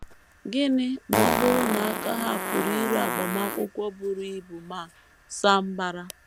Gịnị ma ọ bụrụ na aka ha pụrụ iru agbamakwụkwọ buru ibu ma saa mbara?